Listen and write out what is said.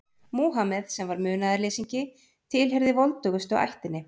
Múhameð, sem var munaðarleysingi, tilheyrði voldugustu ættinni.